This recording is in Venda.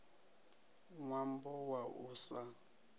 n wambo wa u sa